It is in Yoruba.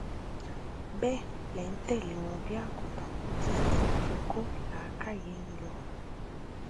bẹẹ lẹ ń tẹlé wọn bíi àgùtàn títí tí wọn fi kó làákàyè yín lọ